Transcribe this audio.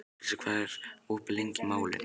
Krissa, hvað er opið lengi í Málinu?